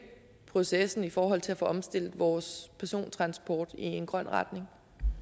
processen i forhold til at få omstillet vores persontransport i en grøn retning